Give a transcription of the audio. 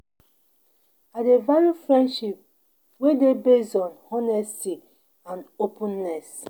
I dey value friendship wey dey based on honesty and openness.